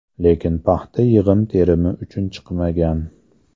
Lekin paxta yig‘im-terimi uchun chiqmagan.